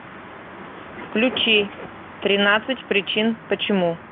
включи тринадцать причин почему